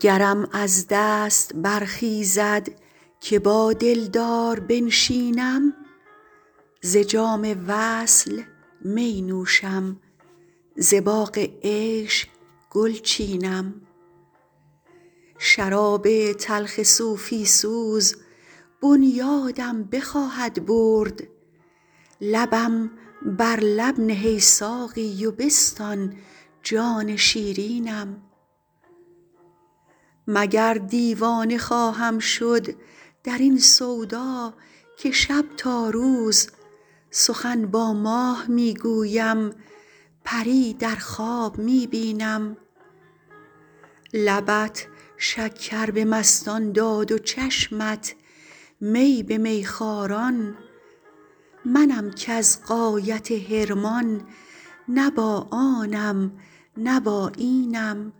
گرم از دست برخیزد که با دلدار بنشینم ز جام وصل می نوشم ز باغ عیش گل چینم شراب تلخ صوفی سوز بنیادم بخواهد برد لبم بر لب نه ای ساقی و بستان جان شیرینم مگر دیوانه خواهم شد در این سودا که شب تا روز سخن با ماه می گویم پری در خواب می بینم لبت شکر به مستان داد و چشمت می به میخواران منم کز غایت حرمان نه با آنم نه با اینم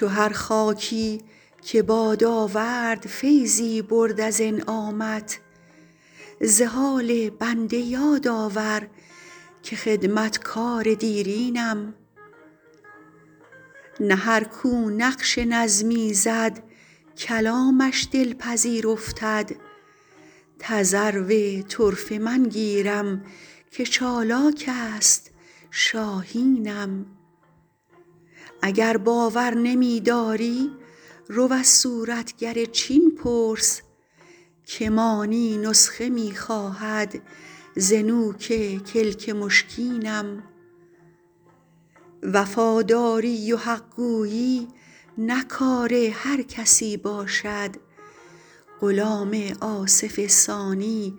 چو هر خاکی که باد آورد فیضی برد از انعامت ز حال بنده یاد آور که خدمتگار دیرینم نه هر کو نقش نظمی زد کلامش دلپذیر افتد تذرو طرفه من گیرم که چالاک است شاهینم اگر باور نمی داری رو از صورتگر چین پرس که مانی نسخه می خواهد ز نوک کلک مشکینم وفاداری و حق گویی نه کار هر کسی باشد غلام آصف ثانی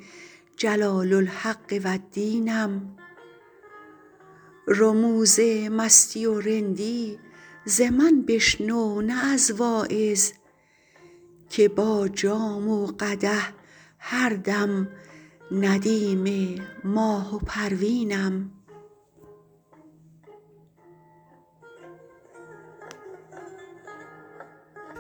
جلال الحق و الدینم رموز مستی و رندی ز من بشنو نه از واعظ که با جام و قدح هر دم ندیم ماه و پروینم